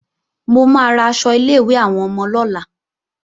Mo máa ra aṣọ ilé-ìwé àwọn ọmọ lọ́la